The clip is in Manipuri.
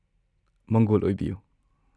ꯃꯪꯒꯣꯜ ꯑꯣꯏꯕꯤꯌꯨ!